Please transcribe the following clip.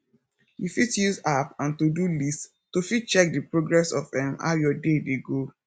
you fit use app and todo list to fit check di progress of um how your day dey go